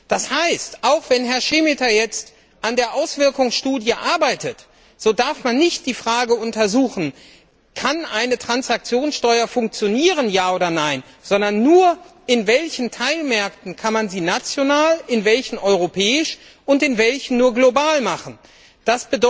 Das heißt, auch wenn Herr Šemeta jetzt an der Folgenabschätzung arbeitet, darf man nicht die Frage untersuchen, ob eine Transaktionssteuer funktionieren kann oder nicht, sondern nur, in welchen Teilmärkten man sie national, in welchen europäisch und in welchen nur global einführen kann.